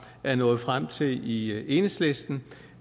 er nået frem til i enhedslisten